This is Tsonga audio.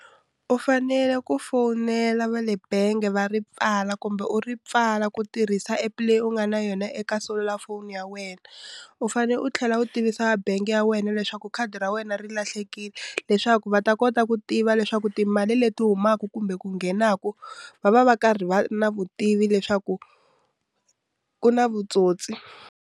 U fanele ku fonela va le bangi va ri pfala kumbe u ri pfala ku tirhisa app leyi u nga na yona eka selulafoni ya wena u fanele u tlhela u tivisa bangi ya wena leswaku khadi ra wena ri lahlekile leswaku va ta kota ku tiva leswaku timali leti humaka kumbe ku nghenaku va va va karhi va na vutivi leswaku ku na vutsotsi.